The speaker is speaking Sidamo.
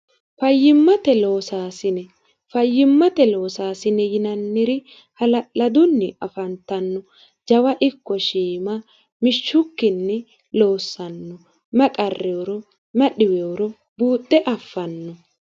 fayyimmate loosaasini yinanniri hlladunni afantanno jawa ikko shiima mishshukkinni loossanno maqarreero madhiweoro buuxxe affanno